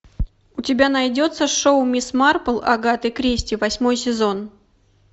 у тебя найдется шоу мисс марпл агаты кристи восьмой сезон